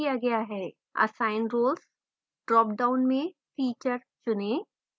assign roles dropdown में teacher चुनें